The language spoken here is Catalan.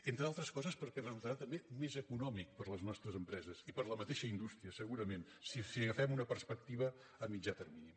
entre altres coses perquè resultarà també més econòmic per a les nostres empreses i per a la mateixa indústria segurament si agafem una perspectiva a mitjà termini